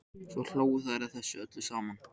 Svo hlógu þær að þessu öllu saman.